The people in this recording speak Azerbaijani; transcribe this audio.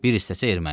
Bir hissəsi erməni.